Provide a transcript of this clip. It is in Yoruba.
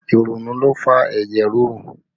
Ìrònú ló ń fa ẹ̀jẹ̀ ríru